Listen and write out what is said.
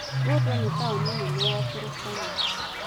Lodwar nĩ taũni nene ya Turkana.